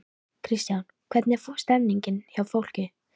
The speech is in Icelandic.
Kristján: Hvernig er stemmningin hjá fólki?